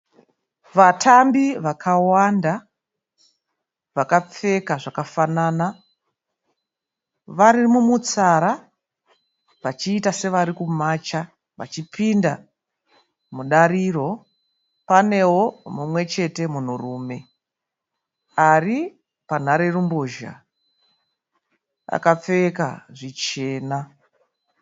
Vatambi vakawanda vakapfeka zvakafanana. Vari mumutsara vachiita sevari kumacha vachipinda mudariro. Panewo mumwe chete munhurume ari panharerumbozha akapfeka zvichena.